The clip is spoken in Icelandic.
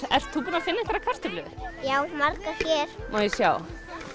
ert þú búinn að finna einhverjar kartöflur já margar hér má ég sjá